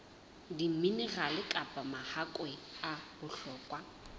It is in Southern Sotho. diminerale kapa mahakwe a bohlokwa